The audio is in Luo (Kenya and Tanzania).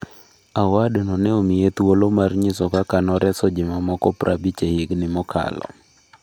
Awardno ne omiye thuolo mar nyiso kaka noreso ji mamoko prabich e higni mokalo.